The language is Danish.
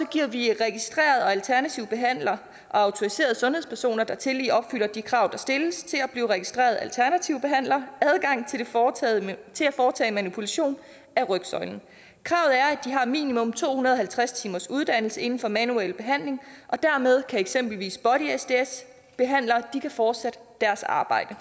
giver vi registrerede og alternative behandlere og autoriserede sundhedspersoner der tillige opfylder de krav der stilles til at blive registrerede alternative behandlere adgang til at foretage manipulation af rygsøjlen kravet er minimum to hundrede og halvtreds timers uddannelse inden for manuel behandling og dermed kan eksempelvis body sds behandlere fortsætte deres arbejde